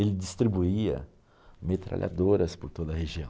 Ele distribuía metralhadoras por toda a região.